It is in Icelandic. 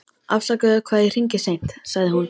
Afsakaðu hvað ég hringi seint, sagði hún.